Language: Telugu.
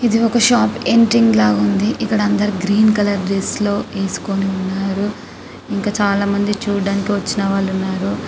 ఇది ఒక షాప్ ఎంట్రీ లా ఉంది ఇక్కడ అందరూ గ్రీన్ కలర్ డ్రెస్ లో వేసుకొని ఉన్నారు ఇంకా చాల మంది చూడడానికి వచ్చిన వాళ్ళు ఉన్నారు.